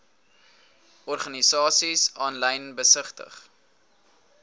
organisasies aanlyn besigtig